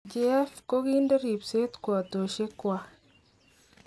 Kiev kokikonde ripset kwotoshek gwak